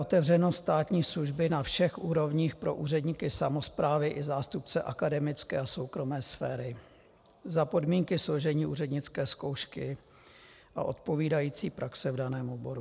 Otevřenost státní služby na všech úrovních pro úředníky samosprávy i zástupce akademické a soukromé sféry, za podmínky složení úřednické zkoušky a odpovídající praxe v daném oboru.